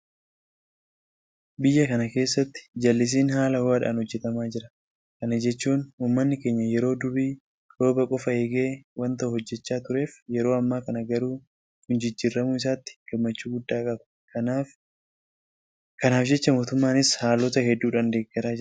Biyya kana keessatti jallisiin haala ho'aadhaan hojjetamaa jira. Kana jechuun uummanni keenya yeroo durii rooba qofa eegee waanta hojjechaa tureef yeroo ammaa kana garuu kun jijjiiramuu isaatti gammachuu guddaa qaba. Kanaaf jecha mootummaanis haalota hedduudhaan deeggaraa jira.